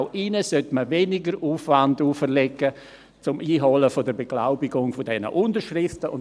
Auch ihnen sollte man weniger Aufwand für die Beglaubigung dieser Unterschriften auferlegen.